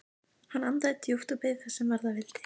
Hann andaði djúpt og beið þess sem verða vildi.